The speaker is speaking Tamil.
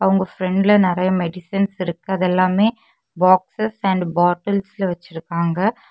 அவுங்க பிராண்ட்ல நெறைய மெடிசின்ஸ் இருக்கு அது எல்லாமே பாக்ஸ்ஸ் அண்ட் பாட்டில்ஸ்ல வெச்சிருக்காங்க.